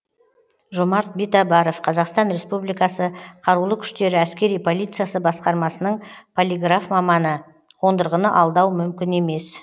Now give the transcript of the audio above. жомарт битабаров қазақстан республикасы қарулы күштері әскери полициясы басқармасының полиграф маманы қондырғыны алдау мүмкін емес